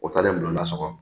O taalen bulonda sɔgɔ